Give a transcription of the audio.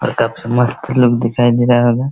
और काफी मस्त लुक दिखाई दे रहा होगा।